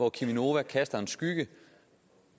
at cheminova kaster en skygge